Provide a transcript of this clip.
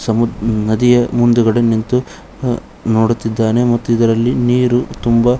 ಸಮುದ್ ನದಿಯ ಮುಂದ್ಗಡೆ ನಿಂತು ಆ ನೋಡುತ್ತಿದ್ದಾನೆ ಮತ್ತು ಇದರಲ್ಲಿ ನೀರು ತುಂಬ --